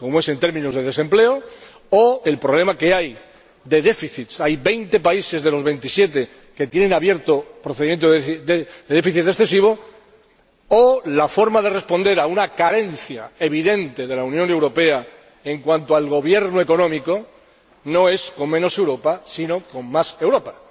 en términos de desempleo— o al problema que hay de déficits —hay veinte países de los Veintisiete que tienen abierto un procedimiento de déficit excesivo—, o la forma de responder a una carencia evidente de la Unión Europea en cuanto al gobierno económico, no es con menos Europa sino con más Europa.